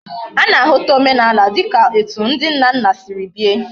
Ana ahuta omenala dika etu ndi nna nna Siri bie